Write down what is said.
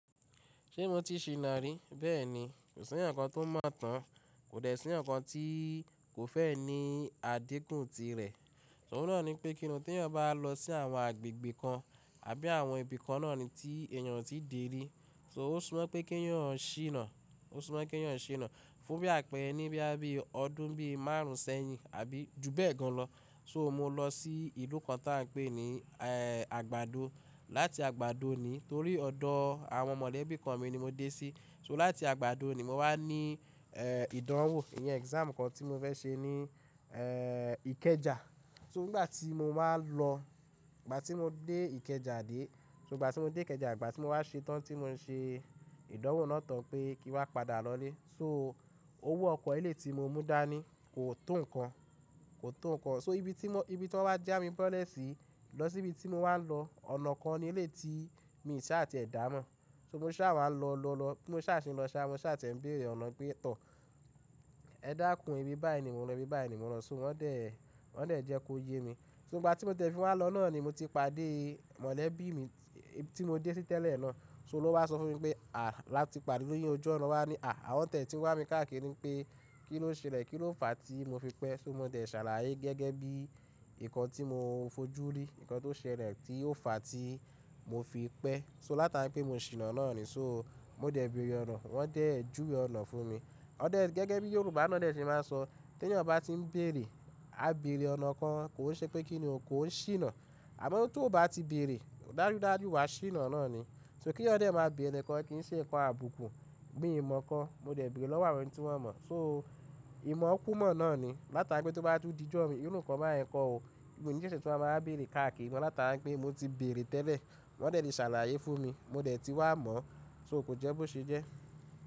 Ṣé mo ti ṣìnà rí? Bẹ́ẹ̀ni, kò sí èèyàn kan tó mọ̀ tán, kò dẹ̀ sí èèyàn kan tí kò fẹ́ ní àdínkù tirẹ̀. Oun náà ni pé kíni tí èèyàn bá lọ sí àwọn agbègbè kan àbí àwọn ibi kan náà ni tí èèyàn o tí dè é rí. So ó súmọ́ pé kí èèyàn ṣìnà, ó súmọ́ pé kí èèyàn ṣìnà. Fún bí àpẹẹ́rẹ́ ní bóyá bí ọdún bí márùn ún sẹ́yìn àbí ju bẹ́ẹ̀ gan lọ. So mo lọ sí ìlú kan tí a ń pè ní, ẹ́, àgbàdo. Láti àgbàdo ni torí ọ̀dọ̀ àwọn mọ̀lẹ́bí kan mi ni mo dé sí. So láti àgbàdo ni mo wá ní, ẹ́, ìdánwò, ìyẹn exam kan tí mo fẹ́ ṣe ní, ẹ́, Ìkẹjà. So nígbà tí mo má lọ, ìgbà tí mo dé Ìkẹjà dé, so ìgbà tí mo dé Ìkẹjà, ìgbà tí mo wá ṣe tán tí mo ń ṣe ìdánwò náà tán pé kí n wá padà lọlé. So owó ọkọ̀ eléyìí ti mo mú dání kò tó ǹkan, kò tó ǹkan. So ibi tí mo, ibi tí wọ́n wá já mi bọ́lẹ̀ sí lọ sí ibi tí mo wá lọ, ọ̀nà kan ni eléyìí ti mi ṣá à ti ẹ dà mọ̀. So mo ṣá wá lọ, lọ, lọ, tí mo ṣá ṣe ń lọ sá, mo ṣá tí ẹ̀ ń bèrè ọ̀nà pé, "Tọ́, ẹ dàkún ibi báyìí ni mo ń lọ, ibi báyìí ni mo ń lọ." So wọ́n dẹ̀, wọ́n dẹ̀ jẹ́ kó yé mi. So ìgbà tí mo tẹ̀fí wá lọ náà ni mo ti padé mọ̀lẹ́bí mi tí mo dé sí tẹ́lẹ̀ náà. So oun lo wá sọ fún mi pé, "À láti pàdé lójú oju ọna." o wá ní, "À, àwọn tẹ̀ tí wá mi káàkiri pé kín ló ṣẹlẹ̀, kí ló fà tí mo fi pẹ́." So mo dẹ̀ ṣàlàyé gẹ́gẹ́ bí ǹkan tí mo fojú rí, ǹkan tó ṣẹlẹ̀ tí ó fà tí mo fi pẹ́. So látàrí pé mo ṣìnà náà ni, so mó dẹ̀ bèèrè ọ̀nà, wọ́n dẹ̀ júwe ọ̀nà fún mi. Wọ́n dẹ̀ gẹ́gẹ́ bí Yorùbá náà dẹ̀ ti máa ń sọ, tí èèyàn bá ti ń bèrè, á bèrè ọ̀nà kan, kò ń ṣe pé kíni o kò ń ṣìnà. Àmọ́ tó bá ti bèrè, dájúdájú wá ṣìnà náà ni. So kí èèyàn dẹ̀ máa béèrè ǹkan kí n ṣe ǹkan àbùkù mi i mọ̀ kan, mo dẹ̀ béèrè lọ́wọ́ àwọn ẹni tí wọ́n mọ̀. So ìmọ̀ kúmọ̀ náà ni látàrí pé tó bá tún dijọ mi, ìrú ǹkan bá yẹn kọ́ o. Mi i ní ṣẹ́ṣẹ́ tun ma wáa bèrè káàkiri, mo látara wipe mo ti bèrè tẹ́lẹ̀, wọ́n dẹ̀ ti ṣàlàyé fún mi, mo dẹ̀ ti wá mọ̀, so kò jẹ́ bó ṣe jẹ́.